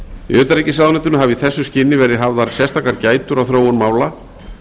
í utanríkisráðuneytinu hafa í þessu skyni verið hafðar sérstakar gætur á þróun mála